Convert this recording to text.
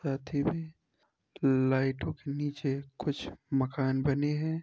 साथ ही में लाइटों के नीचे कुछ मकान बने हुए हैं।